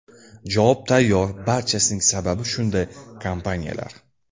Javob tayyor, barchasining sababi shunday kompaniyalar.